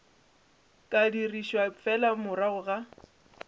ka dirišwa fela morago ga